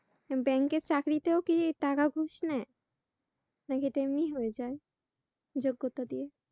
ব্যাংকের চাকরিতেও কি টাকা ঘুষ নেয়? নাকি এটা এমনি হয়ে যায় যোগ্যতা দিয়েই?